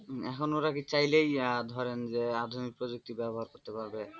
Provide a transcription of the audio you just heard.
এখন ওরা কি চাইলেই ধরেন যে আধুনিক পদ্ধতি ব্যবহার করতে পারবে?